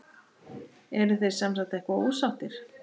Þið eruð semsagt eitthvað ósáttir?